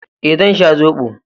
Eh, zan sha zobo.